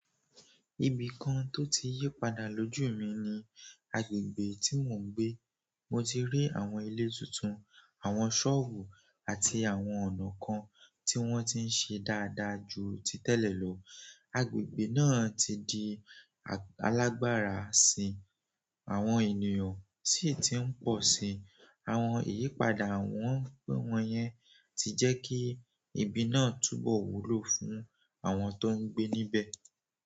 Ibi kan tó ti yí padà lójú mi ni agbègbè tí mò ń gbé. Mo ti rí àwọn ilé tuntun, àwọn sọ́ọ̀bù àti àwọn ọ̀nà kan tí wọ́n ti ṣe dáadáa ju ti tẹ́lẹ̀ lọ. Agbègbè náà ti di alágbára síi, àwọn ènìyàn si ti i pọ si. Àwọn ìyípadà wọn yẹn ti jẹ kí ibi náà tún bọ wúlò fún àwọn tó n gbé níbẹ̀.